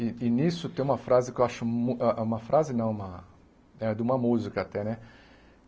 E e nisso tem uma frase que eu acho mu ah... uma frase, não uma... é de uma música até, né?